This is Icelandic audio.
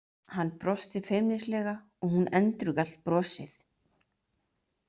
Hann brosti feimnislega og hún endurgalt brosið.